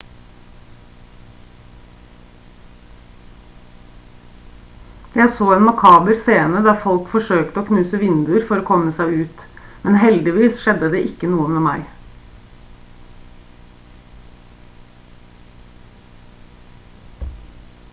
jeg så en makaber scene der folk forsøkte å knuse vinduer for å komme seg ut men heldigvis skjedde det ikke noe med meg